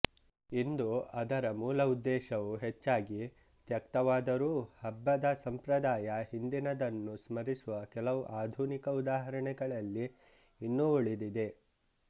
ಇಂದು ಅದರ ಮೂಲ ಉದ್ದೇಶವು ಹೆಚ್ಚಾಗಿ ತ್ಯಕ್ತವಾದರೂ ಹಬ್ಬದ ಸಂಪ್ರದಾಯವು ಹಿಂದಿನದನ್ನು ಸ್ಮರಿಸುವ ಕೆಲವು ಆಧುನಿಕ ಉದಾಹರಣೆಗಳಲ್ಲಿ ಇನ್ನೂ ಉಳಿದಿದೆ